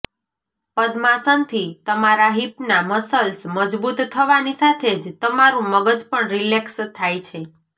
પદ્માસનથી તમારા હિપના મસલ્સ મજબૂત થવાની સાથે જ તમારુ મગજ પણ રિલેક્સ થાય છે